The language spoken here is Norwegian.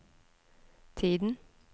tiden